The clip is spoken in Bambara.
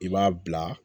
I b'a bila